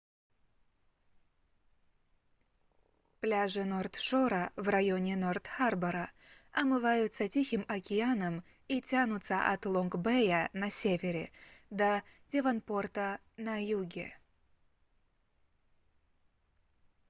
пляжи норт-шора в районе норт-харбора омываются тихим океаном и тянутся от лонг-бэя на севере до девонпорта на юге